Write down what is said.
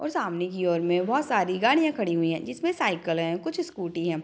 और सामने की ओर में बोहत सारी गाड़ियां खड़ी हुई है जिसमे साइकल है कुछ स्कूटी है।